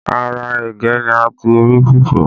Ara ẹ̀gẹ́ ni a ti rí fufu